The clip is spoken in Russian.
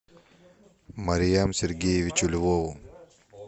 мариам сергеевичу львову